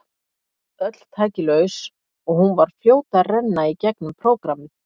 Öll tæki laus og hún var fljót að renna í gegnum prógrammið.